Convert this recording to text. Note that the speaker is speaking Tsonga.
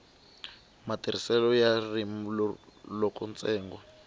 matirhiselo ya ririmi loko ntsengo